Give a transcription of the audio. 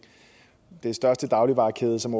den største dagligvarekæde er som